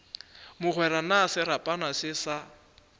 mogwera na serapana se sa